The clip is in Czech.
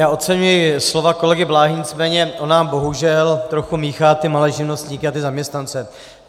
Já oceňuji slova kolegy Bláhy, nicméně on nám bohužel trochu míchá ty malé živnostníky a ty zaměstnance.